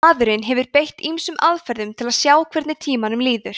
maðurinn hefur beitt ýmsum aðferðum til að sjá hvernig tímanum líður